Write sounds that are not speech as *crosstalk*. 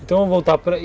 Então, vamos voltar *unintelligible*